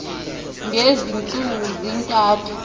ngezi ntsuku zintathu